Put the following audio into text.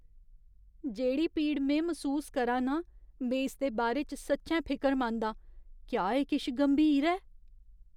जेह्ड़ी पीड़ में मसूस करा नां, में इसदे बारे च सच्चैं फिकरमंद आं । क्या एह् किश गंभीर ऐ?